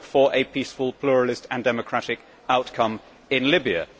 I hope for a peaceful, pluralist and democratic outcome in Libya.